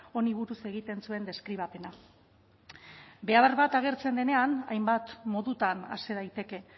honi buruz egiten zuen deskribapena behar bat agertzen denean hainbat modutan hasi daiteke